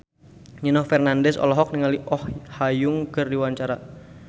Nino Fernandez olohok ningali Oh Ha Young keur diwawancara